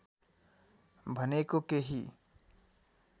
भनेको केही